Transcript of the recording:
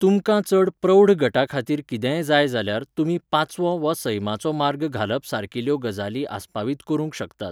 तुमकां चड प्रौढ गटा खातीर कितेंय जाय जाल्यार, तुमी पाचवो वा सैमाचो मार्ग घालप सारकिल्ल्यो गजाली आसपावीत करूंक शकतात.